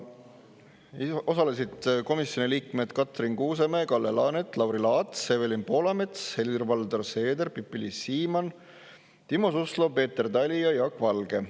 Osalesid komisjoni liikmed Katrin Kuusemäe, Kalle Laanet, Lauri Laats, Evelin Poolamets, Helir-Valdor Seeder, Pipi-Liis Siemann, Timo Suslov, Peeter Tali ja Jaak Valge.